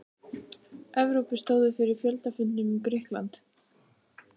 Evrópu stóðu fyrir fjöldafundum um Grikkland.